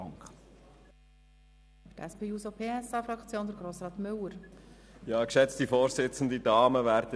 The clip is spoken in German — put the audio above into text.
Für die SP-JUSO-PSA-Fraktion hat Grossrat Müller das Wort.